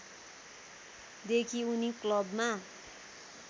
देखि उनी क्लबमा